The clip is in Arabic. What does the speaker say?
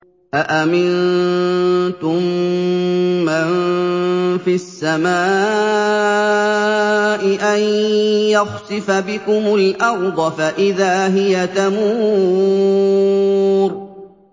أَأَمِنتُم مَّن فِي السَّمَاءِ أَن يَخْسِفَ بِكُمُ الْأَرْضَ فَإِذَا هِيَ تَمُورُ